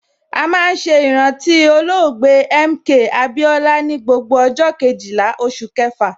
A máa ń ṣe ìrántí olóògbé MK Abiola ni gbogbo ọjọ Kejìlá oṣù kẹfà.